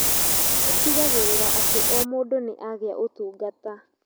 Ũtigagĩrĩra atĩ o mũndũ nĩ agĩa ũtungata.